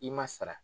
I ma sara